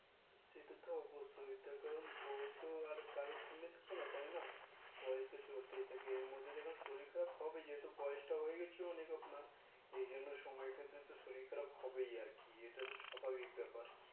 সেটা তো অবশ্যই তার কারণ বয়স তো কারোর জন্য থাকে না তাই না বয়স তো চলতেই থাকে এর মধ্যে শরীর খারাপ হবেই যেহেতু বয়েসটা হয়ে হয়ে গেছে আপনার এ জন্য সময় টুকু শরীর খারাপ হবেই আরকি এটা তো স্বাভাবিক ব্যাপার